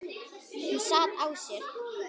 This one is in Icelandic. Hún sat á sér.